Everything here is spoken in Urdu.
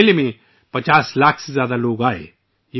اس میلے میں 50 لاکھ سے زیادہ لوگ آئے تھے